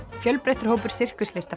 fjölbreyttur hópur